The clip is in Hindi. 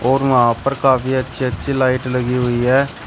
और वहां पर काफी अच्छी अच्छी लाइट लगी हुई है।